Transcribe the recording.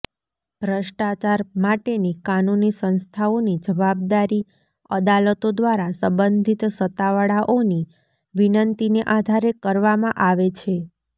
ભ્રષ્ટાચાર માટેની કાનૂની સંસ્થાઓની જવાબદારી અદાલતો દ્વારા સંબંધિત સત્તાવાળાઓની વિનંતીને આધારે કરવામાં આવે છે